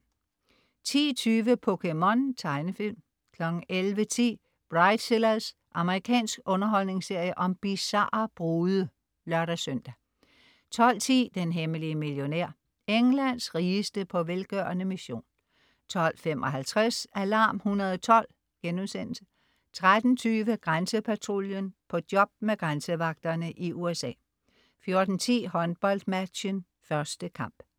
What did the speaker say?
10.20 POKéMON. Tegnefilm 11.10 Bridezillas. Amerikansk underholdningsserie om bizarre brude (lør-søn) 12.10 Den hemmelige millionær. Englands rigeste på velgørende mission 12.55 Alarm 112* 13.20 Grænsepatruljen. På job med grænsevagterne i USA 14.10 HåndboldMatchen. 1. kamp